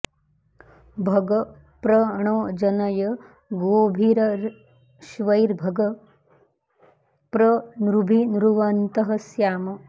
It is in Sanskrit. भग प्र णो जनय गोभिरश्वैर्भग प्र नृभिर्नृवन्तः स्याम